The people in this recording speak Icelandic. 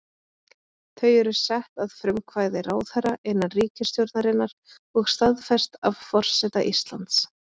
Þau eru sett að frumkvæði ráðherra innan ríkisstjórnarinnar og staðfest af forseta Íslands.